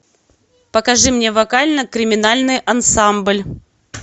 покажи мне вокально криминальный ансамбль